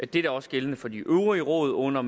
det er også gældende for de øvrige råd under